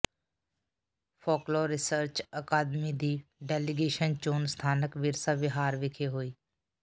folklore research ਅਕਾਦਮੀ ਦੀ delegation ਚੋਣ ਸਥਾਨਕ ਵਿਰਸਾ ਵਿਹਾਰ ਵਿਖੇ ਹੋਈ